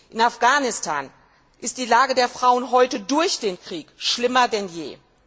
In Afghanistan ist die Lage der Frauen heute durch den Krieg schlimmer denn je.